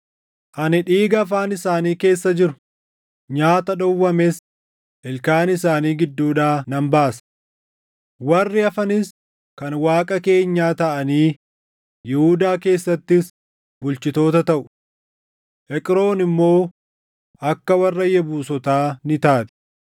Ani dhiiga afaan isaanii keessa jiru, nyaata dhowwames ilkaan isaanii gidduudhaa nan baasa. Warri hafanis kan Waaqa keenyaa taʼanii Yihuudaa keessattis bulchitoota taʼu; Eqroon immoo akka warra Yebuusotaa ni taati.